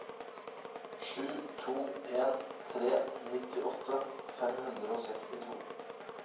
sju to en tre nittiåtte fem hundre og sekstito